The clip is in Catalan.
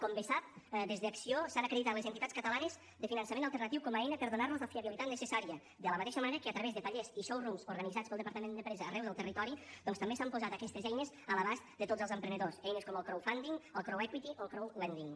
com bé sap des d’acció s’han acreditat les entitats catalanes de finançament alternatiu com a eina per donar los la fiabilitat necessària de la mateixa manera que a través de tallers i showrooms organitzats pel departament d’empresa arreu del territori doncs també s’han posat aquestes eines a l’abast de tots els emprenedors eines com el crowdfunding el o el crowdlending